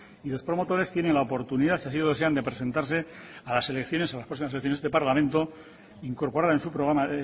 y los promotores tienen la oportunidad si así lo desean de presentarse a las próximas elecciones de este parlamento incorporar en su programa